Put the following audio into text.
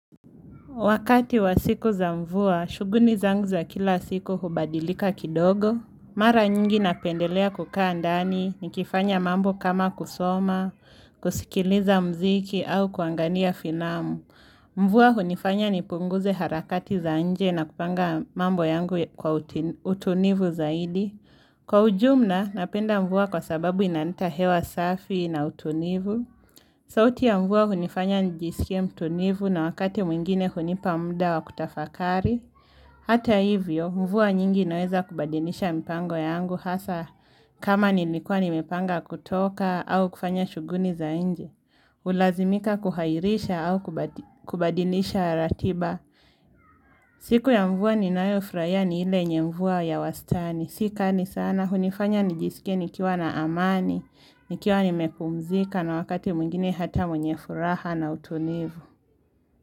Wakati wa siku za mvua, shughuli zangu za kila siku hubadilika kidogo. Mara nyingi napendelea kukaa ndani, nikifanya mambo kama kusoma, kusikiliza mziki au kuangalia filamu. Mvua hunifanya nipunguze harakati za nje na kupanga mambo yangu kwa utunivu zaidi. Kwa ujumla, napenda mvua kwa sababu inaleta hewa safi na utulivu. Sauti ya mvua hunifanya nijisike mtulivu na wakati mwingine hunipa muda wa kutafakari. Hata hivyo, mvua nyingi inaweza kubadilisha mpango yangu hasa kama nilikua nimepanga kutoka au kufanya shughuli za nje. Hulazimika kuairisha au kubadilisha ratiba. Siku ya mvua ninayofurahia ni ile yenye mvua ya wastani. Si kali sanaa, hunifanya nijisike nikiwa na amani, nikiwa nimepumzika na wakati mwingine hata mwenye furaha na utulivu.